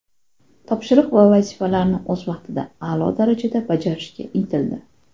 Topshiriq va vazifalarni o‘z vaqtida, a’lo darajada bajarishga intildi.